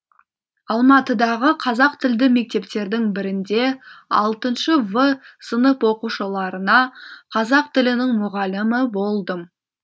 алматыдағы қазақ тілді мектептердің бірінде алтыншы в сынып оқушыларына қазақ тілінің мұғалімі болдым